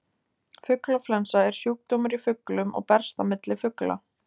Fuglaflensa er sjúkdómur í fuglum og berst á milli fugla.